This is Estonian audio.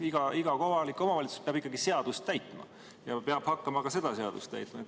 Iga kohalik omavalitsus peab ikkagi seadust täitma ja peab hakkama ka seda seadust täitma.